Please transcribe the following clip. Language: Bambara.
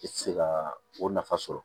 I tɛ se ka o nafa sɔrɔ